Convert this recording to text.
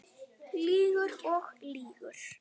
Lýgur og lýgur.